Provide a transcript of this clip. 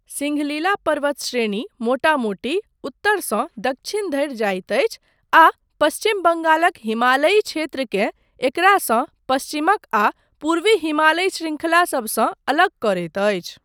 सिङ्घलिला पर्वत श्रेणी मोटा मोटी उत्तरसँ दक्षिण धरि जाइत अछि आ पश्चिम बङ्गालक हिमालयी क्षेत्रकेँ एकरासँ पश्चिमक आ पूर्वी हिमालयी श्रृङ्खला सबसँ अलग करैत अछि।